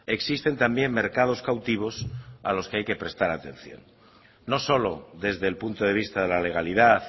existen también mercados cautivos a los que hay que prestar atención no solo desde el punto de vista de la legalidad